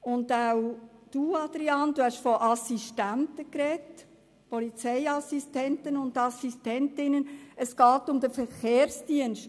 Auch Grossrat Wüthrich hat von Sicherheitsassistentinnen und Sicherheitsassistenten gesprochen und nicht vom Verkehrsdienst.